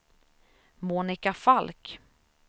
Monika Falk